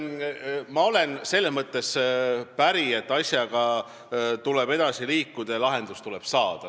Ma olen selles mõttes päri, et asjaga tuleb edasi liikuda ja lahendus tuleb leida.